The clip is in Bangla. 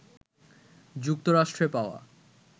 যুক্তরাষ্ট্রে পাওয়া